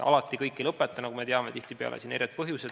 Alati kõik ei lõpeta, nagu me teame, tihtipeale on siin erinevad põhjused.